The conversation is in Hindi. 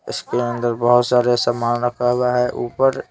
इसके अंदर बहुत सारे सामान रखा हुआ है ऊपर--